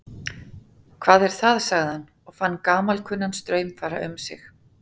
Hvað er það sagði hann og fann gamalkunnan straum fara um sig.